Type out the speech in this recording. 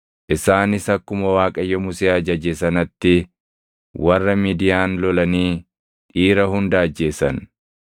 Isaanis akkuma Waaqayyo Musee ajaje sanatti warra Midiyaan lolanii dhiira hunda ajjeesan.